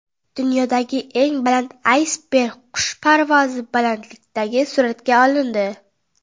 Dunyodagi eng katta aysberg qush parvozi balandligidan suratga olindi.